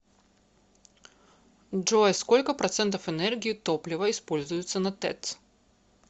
джой сколько процентов энергии топлива используется на тэц